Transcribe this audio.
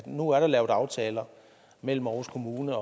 nu er der lavet aftaler mellem aarhus kommune